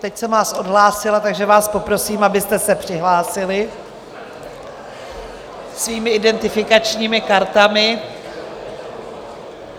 Teď jsem vás odhlásila, takže vás poprosím, abyste se přihlásili svými identifikačními kartami.